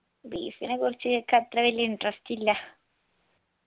beef നെ കുറിച്ച് എനിക്ക് അത്ര വലിയ interest ഇല്ല